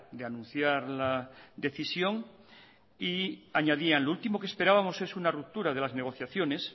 de anunciar la decisión y añadían lo último que esperábamos es una ruptura de las negociaciones